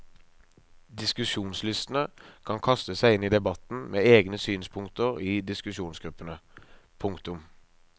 Diskusjonslystne kan kaste seg inn i debatten med egne synspunkter i diskusjonsgruppene. punktum